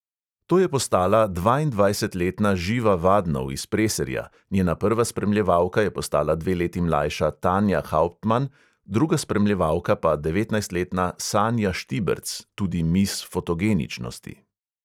To je postala dvaindvajsetletna živa vadnov iz preserja, njena prva spremljevalka je postala dve leti mlajša tanja hauptman, druga spremljevalka pa devetnajstletna sanja štiberc, tudi mis fotogeničnosti.